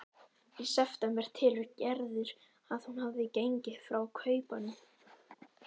Í september telur Gerður að hún hafi gengið frá kaupunum.